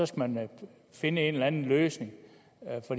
skal man finde en eller anden løsning